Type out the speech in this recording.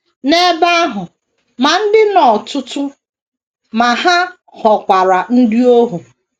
N’ebe ahụ ,ma dị nnọọ ọtụtụ,, ma ha ghọkwara ndị ohu.